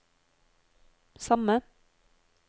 samme